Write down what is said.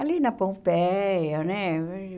Ali na Pompeia, né?